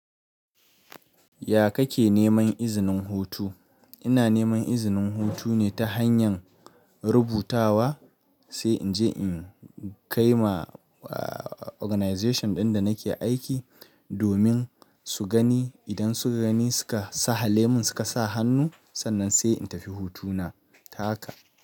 Ya kake neman izinin hutu? Ina neman izinin hutu ne ta hanyar rubutawa sai in je in kai ma organization ɗin da nake aiki domin su gani. Idan suka gani suka sahalemin suka sa hannu, sannan sai in tafi hutuna ta haka.